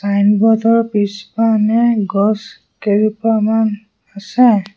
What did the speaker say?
Signboard ৰ পিছপানে গছ কেইজোপামান আছে।